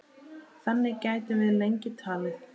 Þannig gætum við lengi talið.